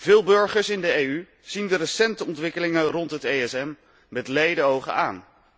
Veel burgers in de EU zien de recente ontwikkelingen rond het ESM met lede ogen aan.